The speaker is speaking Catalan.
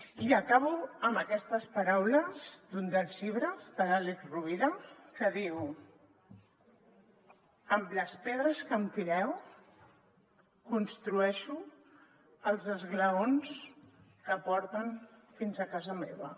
i acabo amb aquestes paraules d’un dels llibres de l’àlex rovira que diu amb les pedres que em tireu construeixo els esglaons que porten fins a casa meva